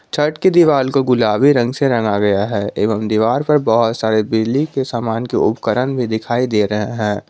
छत की दीवाल को गुलाबी रंग से रंगा गया है एवं दीवार पर बहुत सारे बिजली के समान के उपकरण भी दिखाई दे रहे हैं।